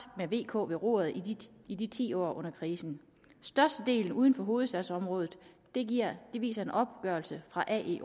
med v og k ved roret i i ti år og under krisen størstedelen er uden for hovedstadsområdet viser en opgørelse fra ae